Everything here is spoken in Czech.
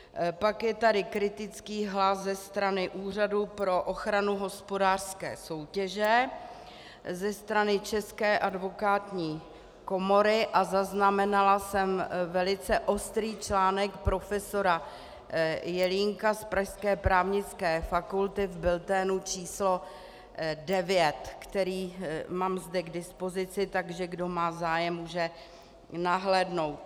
Pak je tady kritický hlas ze strany Úřadu pro ochranu hospodářské soutěže, ze strany České advokátní komory a zaznamenala jsem velice ostrý článek profesora Jelínka z pražské právnické fakulty v bulletinu číslo 9, který mám zde k dispozici, takže kdo má zájem, může nahlédnout.